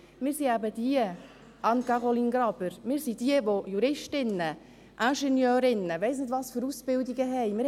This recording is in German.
Wir sind diejenigen, Anne-Caroline Graber, die Rechts- oder Ingenieurwissenschaften studiert und was weiss ich was für Ausbildungen absolviert haben.